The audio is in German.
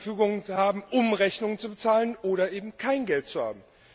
Euro zur Verfügung zu haben, um Rechnungen zu bezahlen, oder eben kein Geld zu haben.